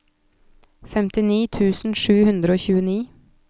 femtini tusen sju hundre og tjueni